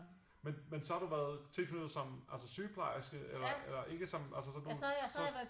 Men men så har du været tilknyttet som altså sygeplejerske eller ikke som altså sådan du